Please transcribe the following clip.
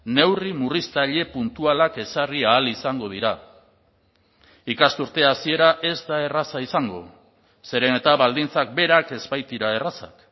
neurri murriztaile puntualak ezarri ahal izango dira ikasturte hasiera ez da erraza izango zeren eta baldintzak berak ez baitira errazak